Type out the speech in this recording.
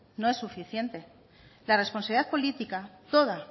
no es suficiente la responsabilidad política toda